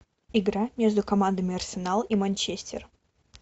игра между командами арсенал и манчестер